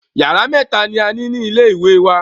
Yàrá mẹ́ta ni a ní ní ilé wa.